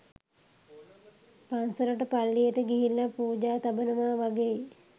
පංසලට පල්ලියට ගිහිල්ල පූජා තබනවා වගෙයි